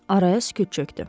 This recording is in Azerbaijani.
Araya sükut çökdü.